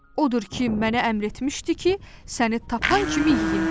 Odur ki, mənə əmr etmişdi ki, səni tapan kimi yeyim.